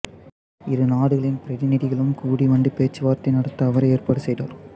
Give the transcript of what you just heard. இரு நாடுகளின் பிரதிநிதிகளும் கூடி வந்து பேச்சு வார்த்தை நடத்த அவரே ஏற்பாடு செய்தார்